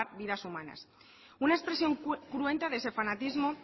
vidas humanas una expresión cruenta de ese fanatismo